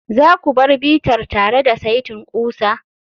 za ku bar bitar tare da saitin ƙusa?